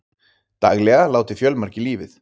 Daglega láti fjölmargir lífið